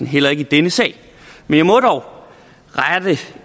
heller i denne sag men jeg må dog rette